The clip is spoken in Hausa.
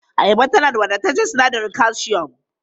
Ayaba na da wadataccen sinadarin kalshiyom.